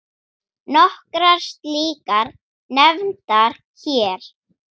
Nokkrar slíkar nefndar hér